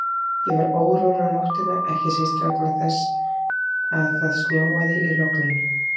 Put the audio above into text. Ég var órór um nóttina, ekki síst vegna þess að það snjóaði í logninu.